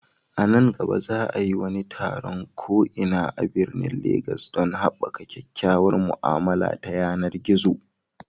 A nan gaba, za a yi wani taron ko'ina a birnin Legas don haɓaka kyakkyawar mu'amala ta yanar gizo.